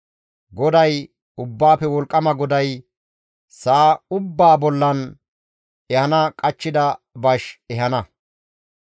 GODAY, Ubbaafe Wolqqama GODAY sa7a ubbaa bollan ehana qachchida bash ehana.